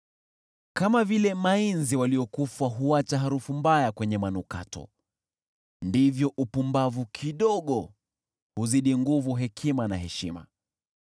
Kama vile nzi waliokufa huacha harufu mbaya kwenye manukato, ndivyo upumbavu kidogo huzidi nguvu hekima na heshima.